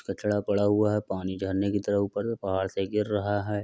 कचड़ा पड़ा हुआ है। पानी झरने की तरह ऊपर पहाड़ से गिर रहा है।